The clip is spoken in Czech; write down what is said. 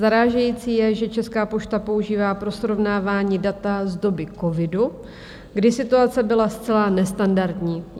Zarážející je, že Česká pošta používá pro srovnávání data z doby covidu, kdy situace byla zcela nestandardní.